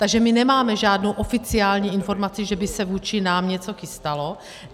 Takže my nemáme žádnou oficiální informaci, že by se vůči nám něco chystalo.